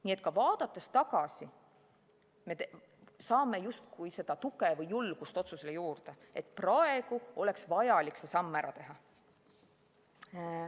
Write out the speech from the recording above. Nii et ka tagasi vaadates me saame justkui seda tuge või julgust juurde otsusele, et praegu oleks vaja see samm ära teha.